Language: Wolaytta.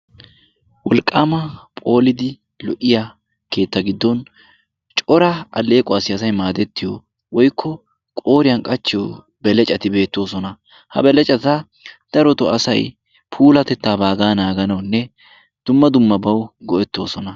Wolqqaama phoolidi lo"iya keetta giddon cora alleequwassi asay maadettiyo woykko qooriyan qachchiyo belecati beettoosona. Ha belecata darotoo asay puulatettaa baagaa naaganawunne dumma dummabawu go'ettoosona.